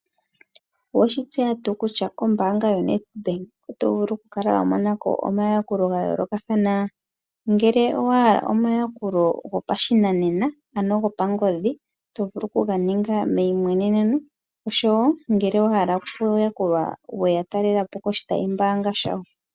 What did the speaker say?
Owe shi tseya tuu kutya kombaanga ya NEDBANK oto vulu okumona ko omayakulo ga yoolokathana? Ngele owahala omayakulo go pashinanena, ano go pangodhi tovulu okuga ninga meyimweneneno, osho wo ngele wa hala okuyakulwa ya talela po koshitayimbaanga sha wo.